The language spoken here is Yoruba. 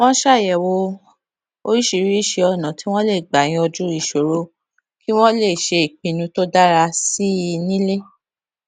wón ṣàyèwò oríṣiríṣi ònà tí wón lè gbà yanjú ìṣòro kí wón lè ṣe ìpinnu tó dára sí i nílé